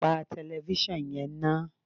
Tan tẹlefísàn yẹn ná